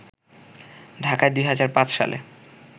ঢাকায় ২০০৫ সালে